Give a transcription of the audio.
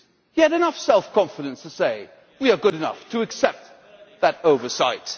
He had enough self confidence to say We are good enough to accept that oversight.'